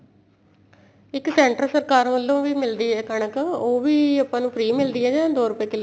ਇੱਕ center ਸਰਕਾਰ ਵੱਲੋ ਵੀ ਮਿਲਦੀ ਏ ਕਣਕ ਉਹ ਵੀ ਆਪਾਂ ਨੂੰ free ਮਿਲਦੀ ਏ ਜਾਂ ਦੋ ਰੁਪਏ